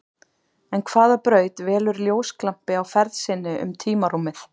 En hvaða braut velur ljósglampi á ferð sinni um tímarúmið?